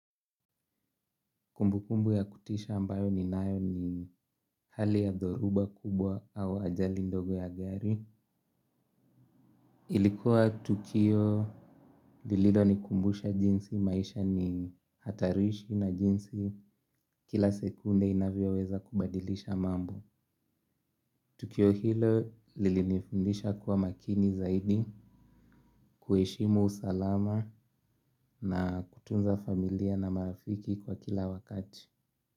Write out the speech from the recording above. Kumbukumbu ya kutisha ambayo ninayo ni hali ya dhoruba kubwa au ajali ndogo ya gari. Ilikuwa tukio lililonikumbusha jinsi maisha ni hatarishi na jinsi kila sekunde inavyoweza kubadilisha mambo. Tukio hilo lilinifundisha kuwa makini zaidi kuheshimu usalama na kutunza familia na marafiki kwa kila wakati.